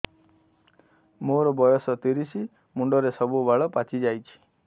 ମୋର ବୟସ ତିରିଶ ମୁଣ୍ଡରେ ସବୁ ବାଳ ପାଚିଯାଇଛି